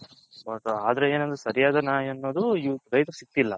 ಆದ್ರೆ ಏನಂದ್ರೆ ಸರಿಯಾದ ನ್ಯಾಯ ಅನೋದು ರೈತ್ಹರ್ಗೆ ಸಿಗ್ತಿಲ್ಲ